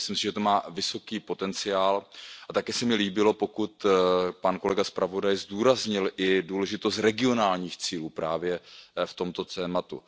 Myslím si, že to má vysoký potenciál a také se mi líbilo, pokud kolega zpravodaj zdůraznil i důležitost regionálních cílů právě v tomto tématu.